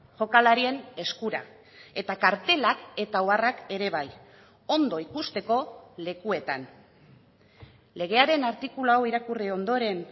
jokalarien eskura eta kartelak eta oharrak ere bai ondo ikusteko lekuetan legearen artikulu hau irakurri ondoren